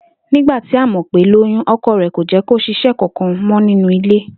Nígbà tí Àmò̩pé lóyún, o̩ko̩ rè̩ kò jé̩́ kí o s̩is̩é̩ kankan mọ́ nínú ilé